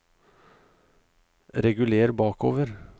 reguler bakover